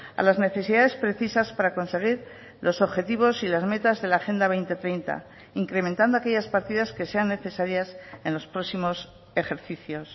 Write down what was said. a las necesidades precisas para conseguir los objetivos y las metas de la agenda dos mil treinta incrementando aquellas partidas que sean necesarias en los próximos ejercicios